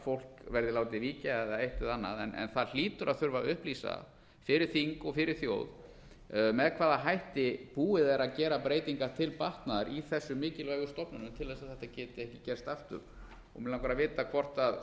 fólk verði látið víkja eða eitt eða annað en það hlýtur að þurfa að upplýsa fyrir þing og fyrir þjóð með hvaða hætti búið er að gera breytingar til batnaðar í þessum mikilvægu stofnunum til þess að þetta geti ekki gerst aftur mig langar að vita hvort